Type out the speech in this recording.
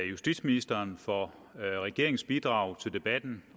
justitsministeren for regeringens bidrag til debatten